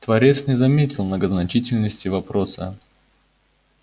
творец не заметил многозначительности вопроса